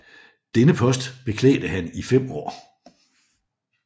Denne post beklædte han i fem år